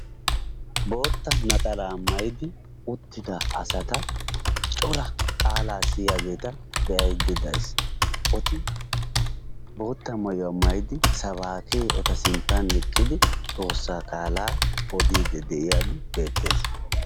Bootta naxalaa mayidi uttida asata cora qaalaa siyiyageeta be'ayidda dayis. eti bootta mayuwa mayidi sabaakke eta sinttan eqqidi xoossaa gaalaa odiiddi de'iyagee beettes.